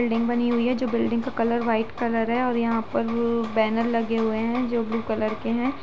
Building बनी हुई है जो बिल्डिंग का कलर वाइट कलर है और यहाँ पर व् बैनर लगे हुए हैं जो ब्लू कलर के हैं।